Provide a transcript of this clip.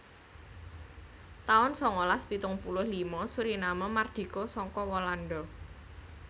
taun sangalas pitung puluh lima Suriname mardika saka Walanda